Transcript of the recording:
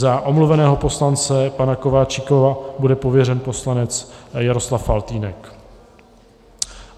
Za omluveného poslance pana Kováčika bude pověřen poslanec Jaroslav Faltýnek.